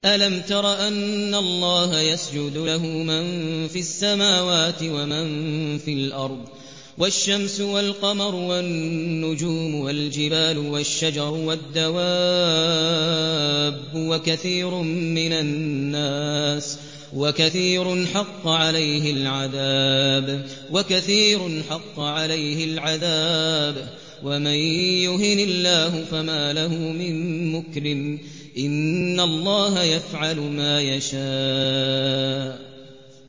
أَلَمْ تَرَ أَنَّ اللَّهَ يَسْجُدُ لَهُ مَن فِي السَّمَاوَاتِ وَمَن فِي الْأَرْضِ وَالشَّمْسُ وَالْقَمَرُ وَالنُّجُومُ وَالْجِبَالُ وَالشَّجَرُ وَالدَّوَابُّ وَكَثِيرٌ مِّنَ النَّاسِ ۖ وَكَثِيرٌ حَقَّ عَلَيْهِ الْعَذَابُ ۗ وَمَن يُهِنِ اللَّهُ فَمَا لَهُ مِن مُّكْرِمٍ ۚ إِنَّ اللَّهَ يَفْعَلُ مَا يَشَاءُ ۩